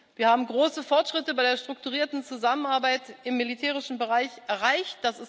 Wir haben große Fortschritte bei der strukturierten Zusammenarbeit im militärischen Bereich erreicht.